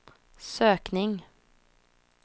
sökning